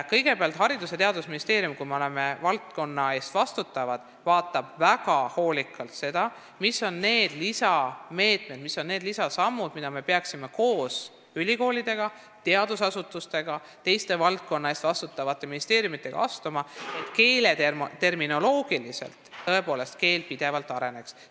Kõigepealt, Haridus- ja Teadusministeerium kui valdkonna eest vastutaja vaatab väga hoolikalt üle, mis oleksid need lisameetmed, lisasammud, mida me peaksime koos ülikoolide, teadusasutuste ja teiste valdkonna eest vastutavate ministeeriumidega astuma, et keel just terminoloogiliselt tõesti pidevalt areneks.